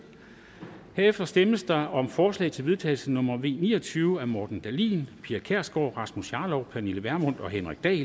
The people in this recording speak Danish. herefter stemmes der om forslag til vedtagelse nummer v ni og tyve af morten dahlin pia kjærsgaard rasmus jarlov pernille vermund og henrik dahl